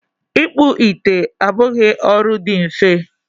ịkpụ ite abụghị ọrụ dị mfe